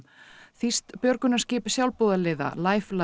þýskt björgunarskip sjálfboðaliða